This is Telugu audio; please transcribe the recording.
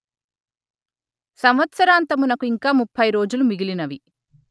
సంవత్సరాంతమునకు ఇంకా ముప్పై రోజులు మిగిలినవి